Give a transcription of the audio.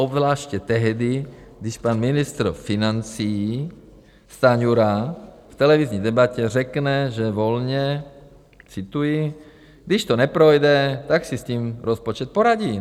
Obzvláště tehdy, když pan ministr financí Stanjura v televizní debatě řekne, že - volně cituji - "když to neprojde, tak si s tím rozpočet poradí"?